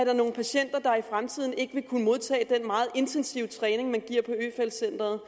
er nogle patienter der i fremtiden ikke vil kunne modtage den meget intensive træning man giver på øfeldt centret